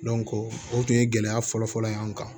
o tun ye gɛlɛya fɔlɔ-fɔlɔ ye an kan